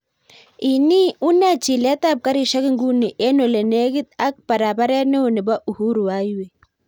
Ini unee chilet ap karishek nguni en ole negit ak paraparet neo nepo uhuru highway